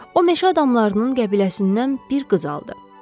O meşə adamlarının qəbiləsindən bir qız aldı.